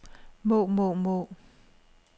må må må